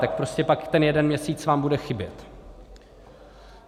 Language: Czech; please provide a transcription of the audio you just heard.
Tak prostě pak ten jeden měsíc vám bude chybět.